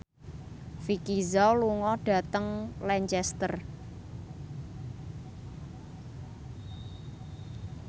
Vicki Zao lunga dhateng Lancaster